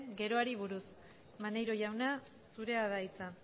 geroari buruz maneiro jauna zurea da hitza